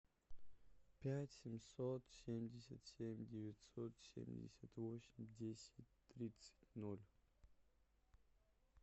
пять семьсот семьдесят семь девятьсот семьдесят восемь десять тридцать ноль